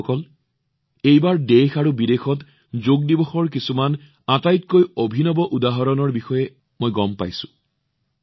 বন্ধুসকল এইবাৰ মই দেশ আৰু বিদেশত যোগ দিৱসত অনুষ্ঠিত হবলগীয়া কিছুমান আটাইতকৈ অভিনৱ উদাহৰণৰ বিষয়ে জানিব পাৰিছো